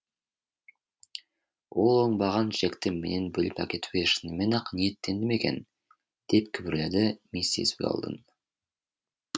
ол оңбаған джекті менен бөліп әкетуге шынымен ақ ниеттенді ме екен деп күбірледі миссис уэлдон